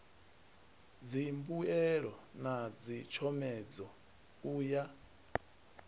dzimbuelo na dzitshomedzo u ya